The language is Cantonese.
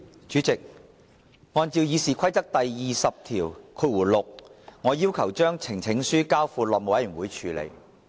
主席，按照《議事規則》第206條，我要求將呈請書交付內務委員會處理。